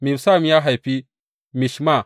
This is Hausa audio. Mibsam ya haifi Mishma.